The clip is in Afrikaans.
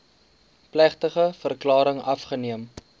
plegtige verklaring afgeneem